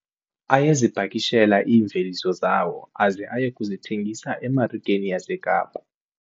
Ayezipakishela iimveliso zawo aze aye kuzithengisa emarikeni yaseKapa.